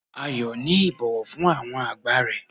Ayo ni ibowo fun awon agba re